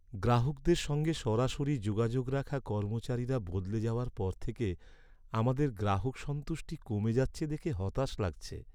গ্রাহকদের সঙ্গে সরাসরি যোগাযোগ রাখা কর্মচারীরা বদলে যাওয়ার পর থেকে আমাদের গ্রাহক সন্তুষ্টি কমে যাচ্ছে দেখে হতাশ লাগছে।